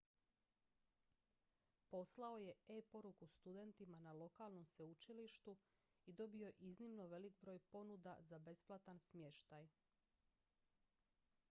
poslao je e-poruku studentima na lokalnom sveučilištu i dobio iznimno velik broj ponuda za besplatan smještaj